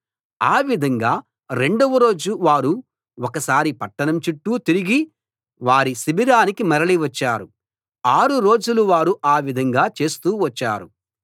ఆ విధంగా రెండవ రోజు వారు ఒకసారి పట్టణం చుట్టూ తిరిగి వారి శిబిరానికి మరలి వచ్చారు ఆరు రోజులు వారు ఆ విధంగా చేస్తూ వచ్చారు